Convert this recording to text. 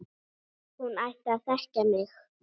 Hún ætti að þekkja mig!